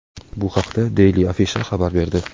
Bu haqda Daily Afisha xabar berdi .